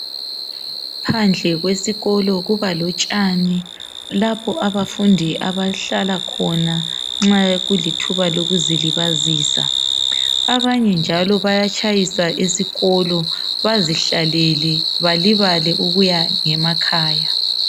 Phandle kwesikolo kuba lotshani, lapho abafundi abahlala khona nxa kulithuba lokuzilibazisa. Abanye njalo bayatshayisa esikolo bazihlalele balibale ukuya ngemakhaya.